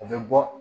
U bɛ bɔ